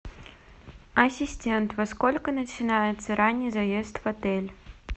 ассистент во сколько начинается ранний заезд в отель